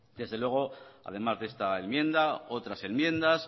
desde luego además de esta enmienda otras enmiendas